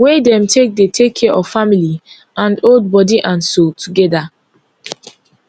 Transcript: wey dem take dey take care of family and hold body and soul togeda